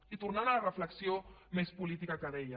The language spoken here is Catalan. i tornant a la reflexió més política que deia